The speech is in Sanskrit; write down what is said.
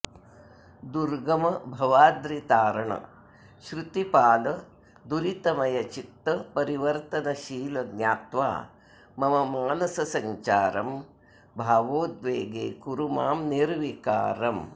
दुर्गम भवाद्रितारण श्रुतिपाल दुरितमय चित्त परिवर्तनशील ज्ञात्वा मम मानससञ्चारं भावोद्वेगे कुरु मां निर्विकारम्